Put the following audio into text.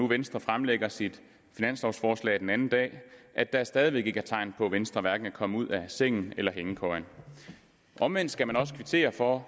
venstre fremlagde sit finanslovforslag den anden dag at der stadig væk ikke er tegn på at venstre er kommet ud af sengen eller hængekøjen omvendt skal man også kvittere for